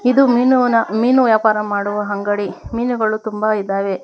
ಇದು ಮೀನುವನ ಮೀನು ವ್ಯಾಪಾರ ಮಾಡುವ ಅಂಗಡಿ ಮೀನುಗಳು ತುಂಬಾ ಇದಾವೆ.